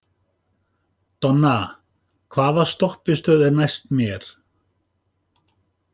Donna, hvaða stoppistöð er næst mér?